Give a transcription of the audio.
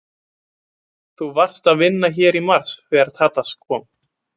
Þú varst að vinna hér í mars þegar Tadas kom?